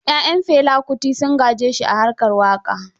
Ya'yan Fela Kuti sun gaje shi a harkar waƙa.